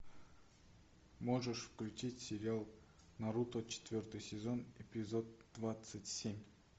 можешь включить сериал наруто четвертый сезон эпизод двадцать семь